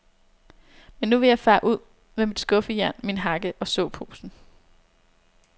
Men nu vil jeg fare ud med mit skuffejern, min hakke og såposen.